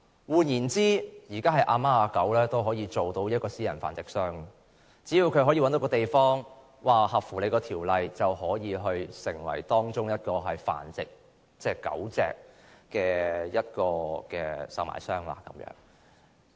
換言之，現時任何人都可以成為私人繁殖商，只要合乎《修訂規例》，隨便找一個地方即可成為繁殖狗隻的售賣商。